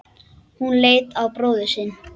Hún leit á bróður sinn.